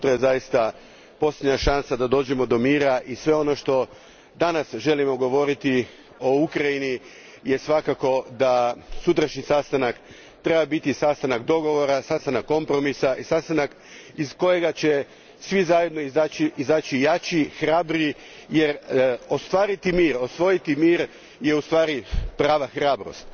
Sutra je zaista posljednja šansa da dođemo do mira i sve ono što danas želimo govoriti o Ukrajini je svakako da sutrašnji sastanak treba biti sastanak dogovora, sastanak kompromisa i sastanak iz kojega će svi zajedno izaći jači, hrabriji, jer ostvariti mir, osvojiti mir je ustvari prava hrabrost.